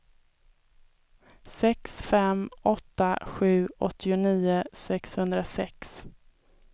sex fem åtta sju åttionio sexhundrasex